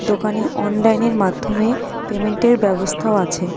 দোকানে অনলাইনের মাধ্যমে পেমেন্টের ব্যবস্থাও আছে.